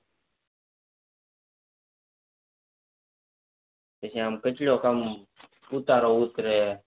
પછી આમ કેટલો કામ ઉતારો ઉતરે